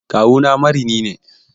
Kawuna marini ne.